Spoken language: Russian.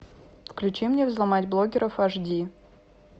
включи мне взломать блоггеров аш ди